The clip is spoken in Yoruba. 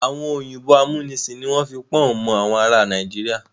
Àwọn òyìnbó amúnisìn ni wọ́n fi pọ́ùn mọ àwọn ará Nàìjíríà.